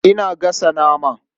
Ina gasa nama.